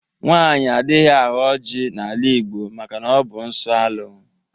Nwaanyị adịghị aghọ ọjị na-ala Igbo maka na-ọbụ nsọ alụ.